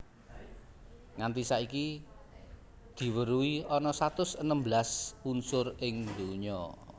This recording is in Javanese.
Nganti saiki diweruhi ana satus enem belas unsur ing donya